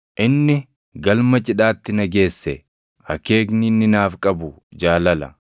Inni galma cidhaatti na geesse; akeekni inni naaf qabu jaalala.